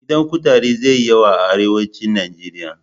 Gidan kutare zai yi yawa a arewacin Nijeriya.